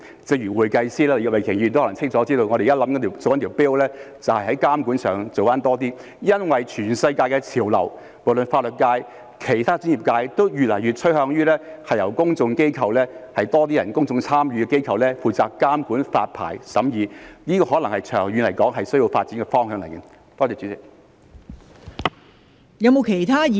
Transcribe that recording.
正如會計師，越來越多人清楚知道我們正在推動的一項 bill， 就是在監管上多做一些工夫，因為全世界的潮流，不論是法律界或其他專業界別，均越來越趨向由有更多公眾參與的公共機構負責監管發牌和審議工作，長遠來說，這可能是需要發展的方向。